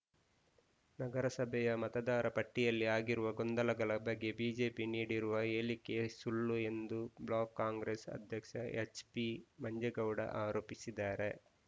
ನಗರಸಭೆಯ ಮತದಾರ ಪಟ್ಟಿಯಲ್ಲಿ ಆಗಿರುವ ಗೊಂದಲಗಳ ಬಗ್ಗೆ ಬಿಜೆಪಿ ನೀಡಿರುವ ಹೇಳಿಕೆ ಸುಳ್ಳು ಎಂದು ಬ್ಲಾಕ್‌ ಕಾಂಗ್ರೆಸ್‌ ಅಧ್ಯಕ್ಷ ಎಚ್‌ಪಿ ಮಂಜೇಗೌಡ ಆರೋಪಿಸಿದ್ದಾರೆ